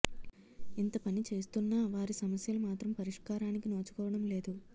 ఇంత పని చేస్తున్నా వారి సమస్యలు మాత్రం పరిష్కారానికి నోచుకోవడం లేదు